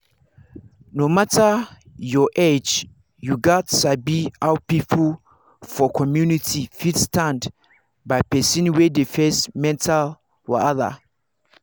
no matter your age you gats sabi how people for community fit stand by person wey dey face mental wahala.